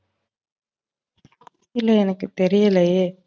இல்ல எனக்கு தெரியலையே.